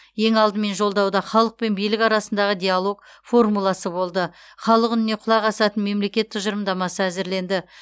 ең алдымен жолдауда халық пен билік арасындағы диалог формуласы болды халық үніне құлақ асатын мемлекет тұжырымдамасы әзірленді